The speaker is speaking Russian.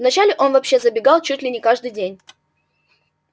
вначале он вообще забегал чуть ли не каждый день